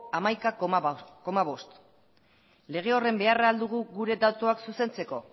hamaika koma bost lege horren beharra dugu gure datuak zuzentzeko